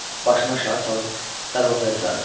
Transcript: Başını aşağı salıb darvazaya sarı getdi.